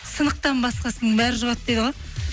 сынықтан басқасының бәрі жұғады дейді ғой